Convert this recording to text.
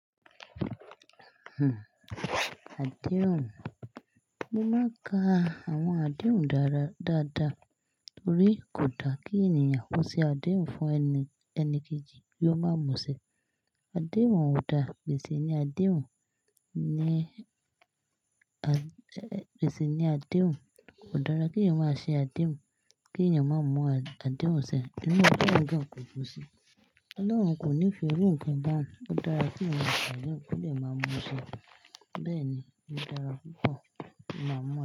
Hmm adéhùn, mo má ka àwon adéhùn dára dáadáa torí kò da kí ènìyàn kó se adéhùn fún ẹni ẹni kejì kí ó má múṣẹ. Adéhùn ò dáa, gbèsè ni adéhùn ní a gbèsè ni adéhùn kò dára kí ènìyàn má ṣe adéhùn kí ènìyàn má mú adéhùn sé. Níbe naa ko jú sí? Ọlọ́run kò nígè iru nkán baun, ó dára kí èeyàn má ṣe adéhùn ki ó dè má múṣẹ. Bẹ́ẹ̀ni, ó dára púpọ̀ ka máa mu.